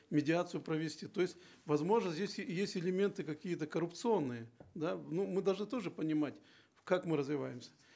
медиацию провести то есть возможно здесь есть элементы какие то коррупционные да ну мы должны тоже понимать как мы развиваемся